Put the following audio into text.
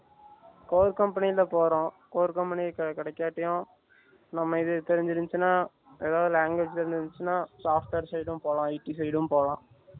core company ல போறோம், Core company கிடைக்கட்டியும் நம்ம இது தெரிஞ்சி இருந்துச்சினா language எதாவது தெரிஞ்சி இருந்துச்சினா Software Side யும் போலாம் IT Side யும் போலாம்